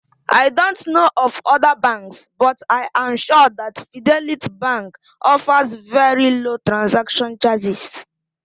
I don't know of other banks, but I am sure that Fidelity Bank offers very low transaction charges